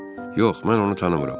Yox, mən onu tanımıram.